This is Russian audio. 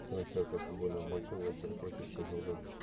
трансляция футбольного матча лестер против шеффилда